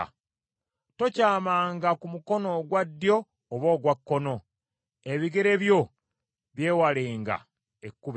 Tokyamanga ku mukono ogwa ddyo oba ogwa kkono; ebigere byo byewalenga ekkubo ekyamu.